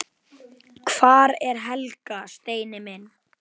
Hvar er Helga, Steini minn?